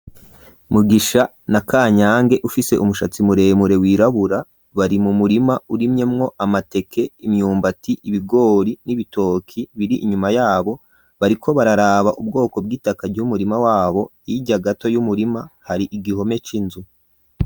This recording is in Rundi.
Mugisha na Kanyange ufise umushatsi muremure wirabura, bari mu murima urimyemwo amateke ,imyumbati, ibigori n'ibitoki biri inyuma yabo, bariko bararaba ubwoko bw'itaka bw'umurima wabo, hirya gato y'umurima hari igihome c'inzu.